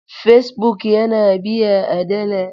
Facebook yana biya a dala.